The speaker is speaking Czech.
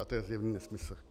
A to je zjevný nesmysl.